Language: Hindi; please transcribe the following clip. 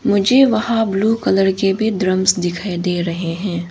मुझे वहां ब्लू कलर के भी ड्रमस दिखाई दे रहे हैं।